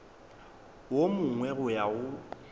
wo mongwe go ya go